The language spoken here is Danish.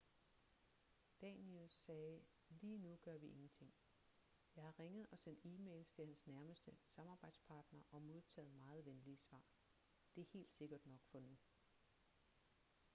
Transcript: danius sagde lige nu gør vi ingenting jeg har ringet og sendt e-mails til hans nærmeste samarbejdspartner og modtaget meget venlige svar det er helt sikkert nok for nu